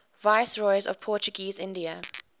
viceroys of portuguese india